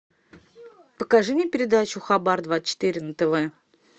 покажи мне передачу хабар двадцать четыре на тв